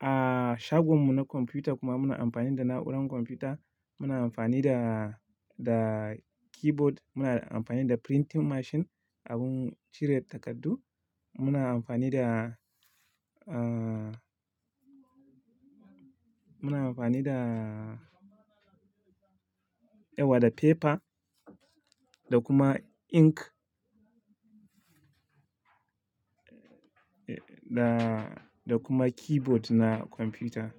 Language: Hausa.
a shagon mu na kwamfuta kuma muna amfani da na'urar kwamfuta. Muna amfani da, da keyboard, muna amfani da printing machine, abun cire takardu. Muna amfani da, ah, muna amfani da yau da paper da kuma ink, da, da kuma keyboard na kwamfuta.